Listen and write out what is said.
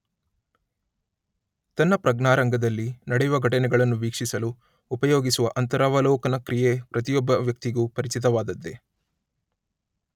ತನ್ನ ಪ್ರಜ್ಞಾರಂಗದಲ್ಲಿ ನಡೆಯುವ ಘಟನೆಗಳನ್ನು ವೀಕ್ಷಿಸಲು ಉಪಯೋಗಿಸುವ ಅಂತರವಲೋಕನಕ್ರಿಯೆ ಪ್ರತಿಯೊಬ್ಬ ವ್ಯಕ್ತಿಗೂ ಪರಿಚಿತವಾದದ್ದೇ.